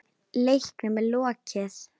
Leiknum er lokið.